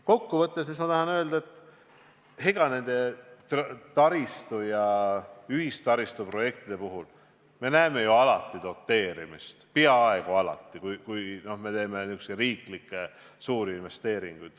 Kokkuvõttes tahan ma öelda, et selliste taristu- ja ühistaristuprojektide puhul me näeme ju alati doteerimist, peaaegu alati, kui teeme selliseid suuri riiklikke investeeringuid.